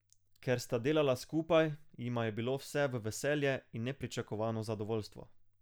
Ker sta delala skupaj, jima je bilo vse v veselje in nepričakovano zadovoljstvo.